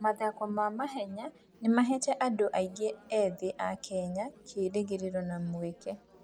Mathako ma mahenya nĩ maheete andũ aingĩ ethĩ a Kenya kĩĩrĩgĩrĩro na mweke.